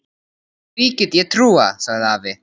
Því get ég trúað, sagði afi.